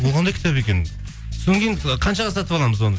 ол қандай кітап екен содан кейін қаншаға сатып аламыз оны